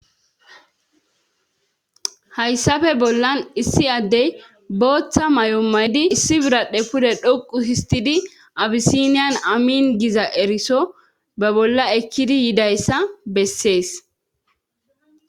Hayssape bollan issi addey booththa may7omaydi issi biradhe pude dhoqu histidi abisiniyan amiin giza eriso be bolla ekkidi yidayssa bessees.